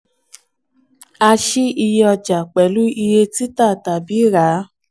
a ṣí iye ọja pẹ̀lú iye tita tàbí rà á.